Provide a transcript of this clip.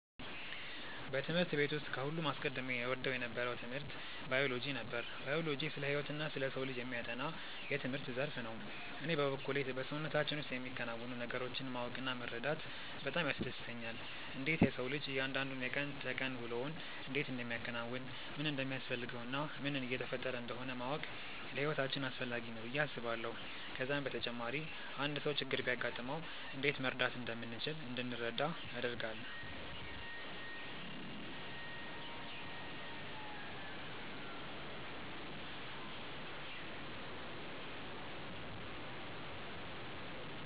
በትምህርት ቤት ውስጥ ከሁሉም አስቀድሜ እወደው የነበረው ትምህርት ባዮሎጂ ነበር። ባዮሎጂ ስለ ህይወትና ስለ ሰው ልጅ የሚያጠና የትምህርት ዘርፍ ነው። እኔ በበኩሌ በሰውነታችን ውስጥ የሚከናወኑ ነገሮችን ማወቅ እና መረዳት በጣም ያስደስተኛል። እንዴት የሰው ልጅ እያንዳንዱ የቀን ተቀን ውሎውን እንዴት እንደሚያከናውን፣ ምን እንደሚያስፈልገው እና ምን እየተፈጠረ እንደሆነ ማወቅ ለህይወታችን አስፈላጊ ነው ብዬ አስባለሁ። ከዛም በተጨማሪ አንድ ሰው ችግር ቢያጋጥመው እንዴት መርዳት እንደምንችል እንድንረዳ ያደርጋል።